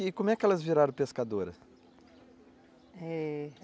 E como é que elas viraram pescadoras?